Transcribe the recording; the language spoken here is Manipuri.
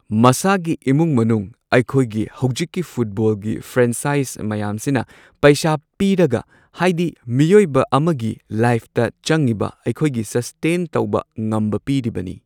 ꯃꯁꯥꯒꯤ ꯏꯃꯨꯡ ꯃꯅꯨꯡ ꯑꯩꯈꯣꯏꯒꯤ ꯍꯧꯖꯤꯛꯀꯤ ꯐꯨꯠꯕꯣꯜꯒꯤ ꯐ꯭ꯔꯦꯟꯁꯥꯢꯖ ꯃꯌꯥꯝꯁꯤꯅ ꯄꯩꯁꯥ ꯄꯤꯔꯒ ꯍꯥꯏꯗꯤ ꯃꯤꯑꯣꯏꯕ ꯑꯝꯒꯤ ꯂꯥꯏꯐꯇ ꯆꯪꯉꯤꯕ ꯑꯩꯈꯣꯏꯒꯤ ꯁꯁꯇꯦꯟ ꯇꯧꯕ ꯉꯝꯕ ꯄꯤꯔꯤꯕꯅꯤ꯫